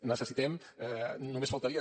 necessitem només faltaria